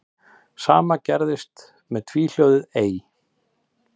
Sama gerðist með tvíhljóðið ey.